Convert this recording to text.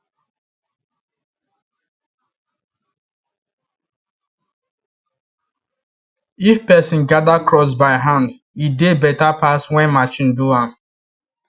if person gather crops by hand e dey better pass when machine do am